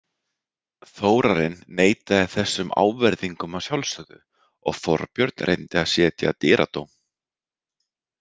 Þórarinn neitaði þessum ávirðingum að sjálfsögðu og Þorbjörn reyndi að setja dyradóm.